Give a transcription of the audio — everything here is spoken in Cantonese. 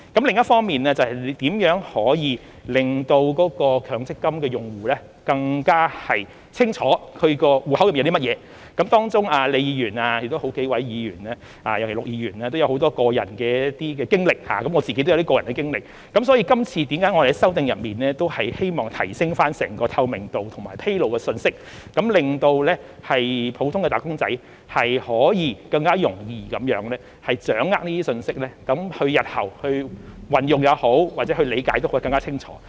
另一方面，是如何可以令強積金用戶更加清楚其戶口內有甚麼，當中李議員、好幾位議員和陸議員也有很多個人的經歷，我自己亦有一些個人的經歷，所以今次我們在修訂中希望提升透明度及披露信息，令普通的"打工仔"可以更容易掌握這些信息，在日後運用或理解時也更清楚。